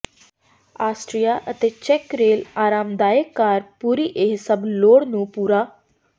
Austria ਅਤੇ ਚੈੱਕ rail ਆਰਾਮਦਾਇਕ ਕਾਰ ਪੂਰੀ ਇਹ ਸਭ ਲੋੜ ਨੂੰ ਪੂਰਾ